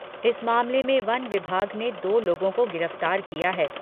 इस मामले में वन विभाग ने दो लोगों को गिरफ्तार किया है